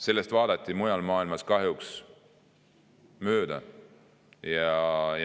Sellest vaadati mujal maailmas kahjuks mööda.